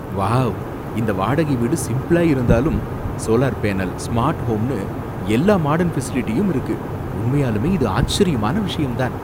Wow! இந்த வாடகை வீடு சிம்பிளா இருந்தாலும், சோலார் பேனல், ஸ்மார்ட் ஹோம்னு எல்லா மாடர்ன் ஃபெசிலிட்டியும் இருக்கு, உண்மையாலுமே இது ஆச்சரியமான விஷயம் தான்!